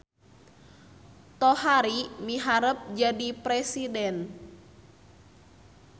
Tohari miharep jadi presiden